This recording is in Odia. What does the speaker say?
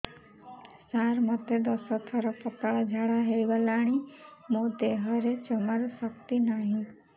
ସାର ମୋତେ ଦଶ ଥର ପତଳା ଝାଡା ହେଇଗଲାଣି ମୋ ଦେହରେ ଜମାରୁ ଶକ୍ତି ନାହିଁ